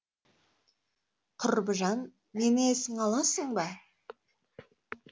құрбыжан мені есіңе аласың ба